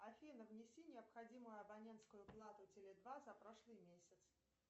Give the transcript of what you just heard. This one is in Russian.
афина внеси необходимую абонентскую плату теле два за прошлый месяц